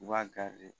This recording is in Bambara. U b'a